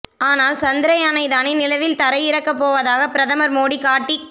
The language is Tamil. ஆனால் சந்திரயானை தானே நிலவில் தரை இறக்கப்போவதாக பிரதமர் மோடி காட்டிக்